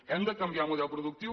hem de canviar el model productiu